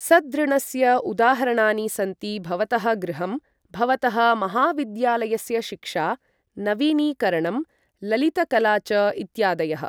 सद्ऋणस्य उदाहरणानि सन्ति भवतः गृहं, भवतः महाविद्यालयस्य शिक्षा, नवीनीकरणं, ललितकला च इत्यादयः।